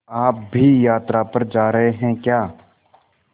आप भी यात्रा पर जा रहे हैं क्या